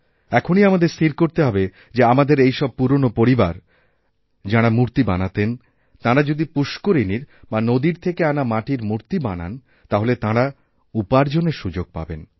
এখনই আমাদের স্থির করতে হবে যে আমাদের ওইসবপুরনো পরিবার যারা মূর্তি বানাতেন তাঁরা যদি পুষ্করিণীর বা নদীর থেকে আনা মাটিরমূর্তি বানান তাহলে তাঁরা উপার্জনের সুযোগ পাবেন